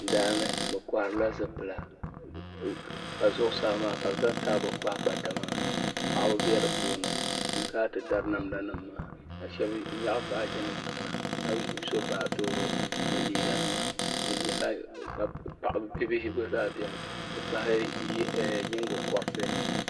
Daa ni bi kɔhiri la zipila ka zuɣusaa maa ka bi zaŋ taabo kpahi pata maa ka paɣaba bɛ di puuni so n kana ti dari namda nima maa ka shɛba nyaɣi baaji nima kana ka so baatooro ni liiga nima bia bihi gba zaa bɛni ti pahi nyingokɔriti.